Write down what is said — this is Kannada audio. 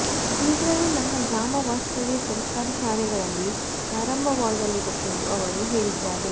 ಶೀಘ್ರವೇ ನನ್ನ ಗ್ರಾಮ ವಾಸ್ತವ್ಯ ಸರ್ಕಾರಿ ಶಾಲೆಗಳಲ್ಲಿ ಪ್ರಾರಂಭವಾಗಲಿದೆ ಎಂದು ಅವರು ಹೇಳಿದ್ದಾರೆ